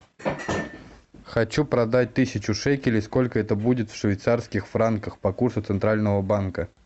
хочу продать тысячу шекелей сколько это будет в швейцарских франках по курсу центрального банка